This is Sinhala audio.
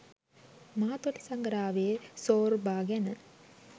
මාතොට සඟරාවේ සෝර්බා ගැන